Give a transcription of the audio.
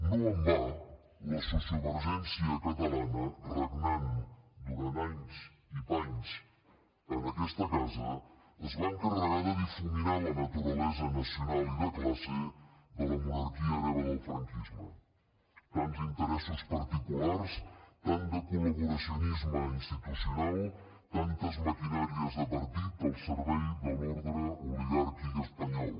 no en va la sociovergència catalana regnant durant anys i panys en aquesta casa es va encarregar de difuminar la naturalesa nacional i de classe de la monarquia hereva del franquisme tants interessos particulars tant de col·laboracionisme institucional tantes maquinàries de partit al servei de l’ordre oligàrquic espanyol